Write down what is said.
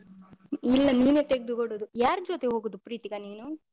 ಇಲ್ಲ ನೀನೆ ತೆಗ್ದುಕೊಡುದು. ಯಾರ್ ಜೊತೆ ಹೋಗುದು ಪ್ರೀತಿಕಾ ನೀನು?